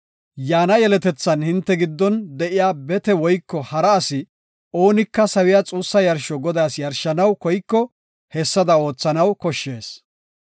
Yaana yeletethan hinte giddon de7iya bete woyko hara asi oonika sawiya xuussa yarsho Godaas yarshanaw koyiko hessada oothanaw koshshees.